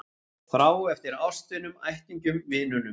Þrá eftir ástvinunum, ættingjunum, vinunum.